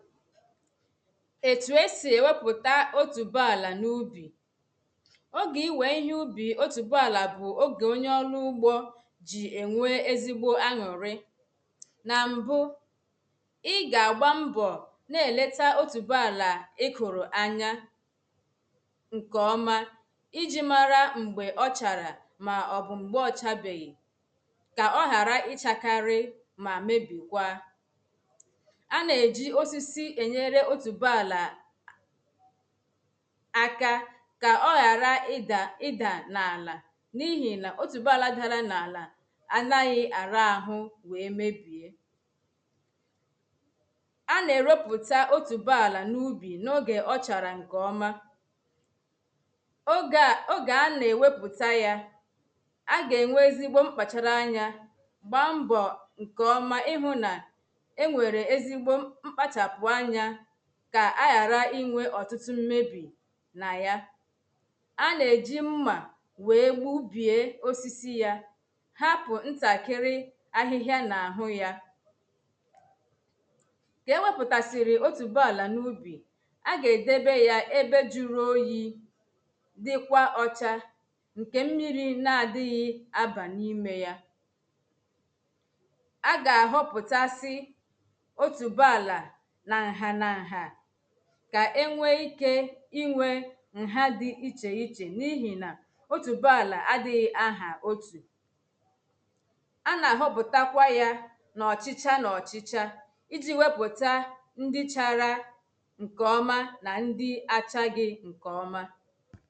Etū esì ēwēpụ̄ta otubàlà n’ụbī. ògē iwee ihē ụbị otubàlà bụ ògē oṅyē ọlụ ụ̀gbo. jị̀ eṅwē ezigbo àṅụri. na m̀bụ̀ Ị ga agba m̀bọ̀ na-eleta otubàlà ìkụrụ anya ṅkē ọ̀ma ìjị̀ mara m̀gbē ọ̀ chara ma ọ̀bụ̄ m̀gbē ọ̀ chabēghị̀ ka ọ̀ghara ìcharakarì ma mebìkwa A na-ejì osìsì ēṅyērē otubàlà Aka ka ọ̀ ghara ìda ìda n’ala niihi na otubàlà dara n’àlà Anaghị àrá àhụ̀ wēē mēbi À na-eropụta otubàlà n’ubī̄ N’oge ọ̀ chara ṅkē òma Oge a oge àná ewepụta ya À ga eṅwē ezigbo m̀kpachara àṅya Gba m̀bọ̄ ṅ̀ke ọ̀ma ìhụna eṅwērē ezigbo mkpachapụ àṅya ka àghàrà ìṅwē ọ̀tụ̄tụ̄ m̀mebi na ya Àna ejì m̀ma wēē gbubie osìsì ya. Hapụ̄ ṅ̀takị̇̀rị̀ àhị̀hà n’áhụ̄ ya. Ka ewēpụ̄tasīri otubàlà n’ụbī. À ga ēdēbē ya ēbē jụrụ oyịị̀ Dikwa ọ̀chà ṅke mmiri na-adighị àbà nimeya Àga họpụtasị Otubàlà na ṅ̀ghā na ṅ̀ghā Ka ēṅwe ìke ìṅwe Ṅ̀ghá dì ìche ìche niihi na Otubàlà àdìghị̀ àhà otū À ná-họpụtakwa ya N’ọ̀chicha n’ọ̀chicha ìjị̀ wepụ̄ta ǹdì chara ṅkē ọ̀ma na ndi àchàghi̇̀ ṅ̀kē ọ̀ma.